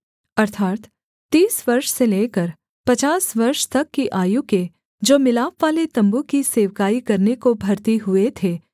अर्थात् तीस वर्ष से लेकर पचास वर्ष तक की आयु के जो मिलापवाले तम्बू की सेवकाई करने को भर्ती हुए थे